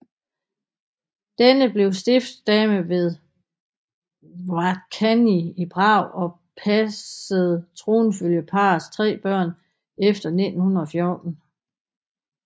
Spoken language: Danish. Denne blev stiftsdame ved Hradčany i Prag og passede tronfølgerparrets tre børn efter 1914